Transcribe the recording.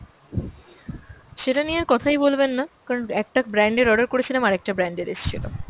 সেটা নিয়ে আর কথাই বলবেন না, কারণ একটা brand এর order করেছিলাম আর একটা brand এর এসছিল।